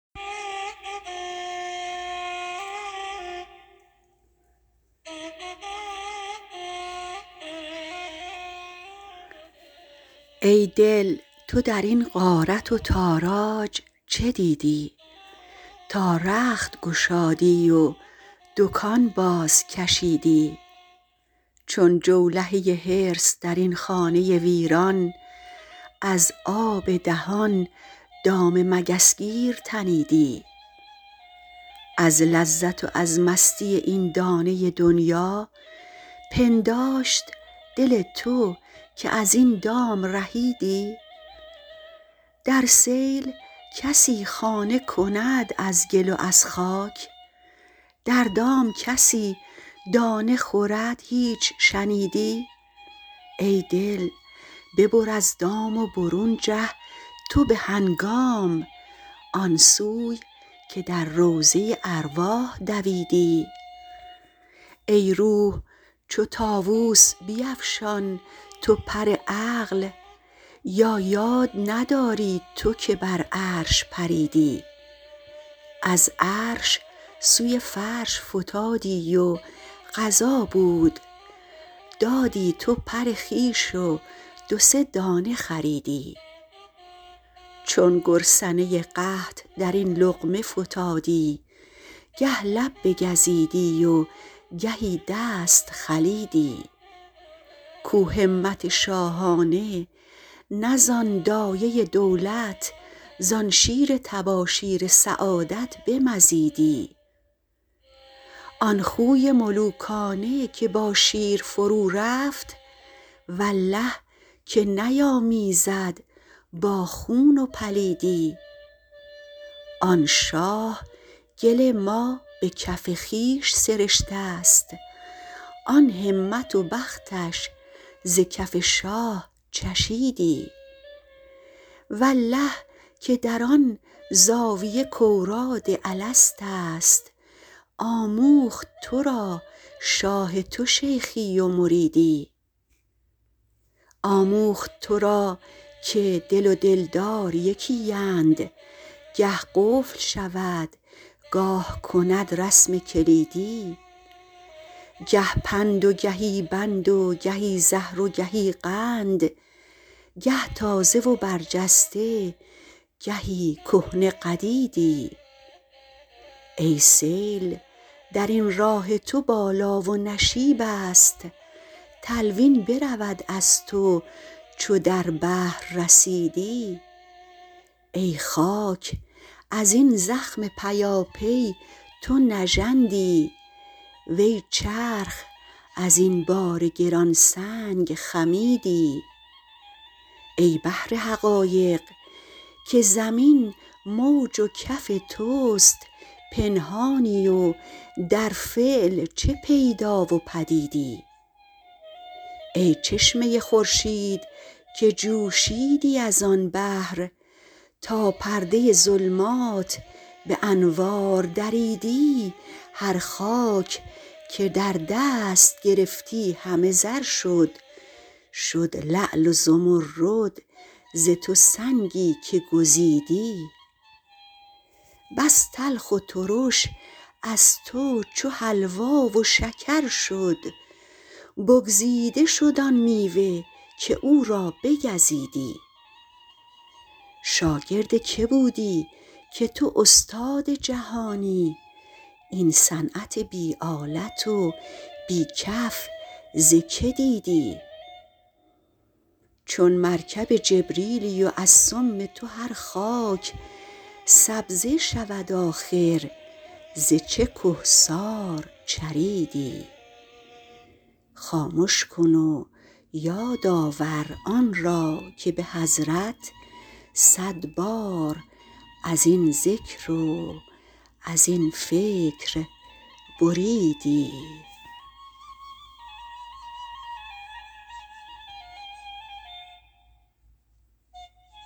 ای دل تو در این غارت و تاراج چه دیدی تا رخت گشادی و دکان بازکشیدی چون جولهه حرص در این خانه ویران از آب دهان دام مگس گیر تنیدی از لذت و از مستی این دانه دنیا پنداشت دل تو که از این دام رهیدی در سیل کسی خانه کند از گل و از خاک در دام کسی دانه خورد هیچ شنیدی ای دل ببر از دام و برون جه تو به هنگام آن سوی که در روضه ارواح دویدی ای روح چو طاووس بیفشان تو پر عقل یا یاد نداری تو که بر عرش پریدی از عرش سوی فرش فتادی و قضا بود دادی تو پر خویش و دو سه دانه خریدی چون گرسنه قحط در این لقمه فتادی گه لب بگزیدی و گهی دست خلیدی کو همت شاهانه نه زان دایه دولت زان شیر تباشیر سعادت بمزیدی آن خوی ملوکانه که با شیر فرورفت والله که نیامیزد با خون و پلیدی آن شاه گل ما به کف خویش سرشته ست آن همت و بختش ز کف شاه چشیدی والله که در آن زاویه کاوراد الست است آموخت تو را شاه تو شیخی و مریدی آموخت تو را که دل و دلدار یکی اند گه قفل شود گاه کند رسم کلیدی گه پند و گهی بند و گهی زهر و گهی قند گه تازه و برجسته گهی کهنه قدیدی ای سیل در این راه تو بالا و نشیب است تلوین برود از تو چو در بحر رسیدی ای خاک از این زخم پیاپی تو نژندی وی چرخ از این بار گران سنگ خمیدی ای بحر حقایق که زمین موج و کف توست پنهانی و در فعل چه پیدا و پدیدی ای چشمه خورشید که جوشیدی از آن بحر تا پرده ظلمات به انوار دریدی هر خاک که در دست گرفتی همه زر شد شد لعل و زمرد ز تو سنگی که گزیدی بس تلخ و ترش از تو چو حلوا و شکر شد بگزیده شد آن میوه که او را بگزیدی شاگرد کی بودی که تو استاد جهانی این صنعت بی آلت و بی کف ز کی دیدی چون مرکب جبریلی و از سم تو هر خاک سبزه شود آخر ز چه کهسار چریدی خامش کن و یاد آور آن را که به حضرت صد بار از این ذکر و از این فکر بریدی